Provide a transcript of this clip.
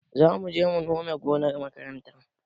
Zamuje mu nome gonar makaranta